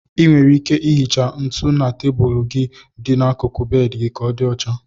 Ị nwere ike ihicha ntụ na tebụlụ gị dị n'akụkụ bedị ka ọ dị ocha.